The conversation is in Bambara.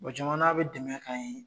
O jamana be dɛmɛ k'an ye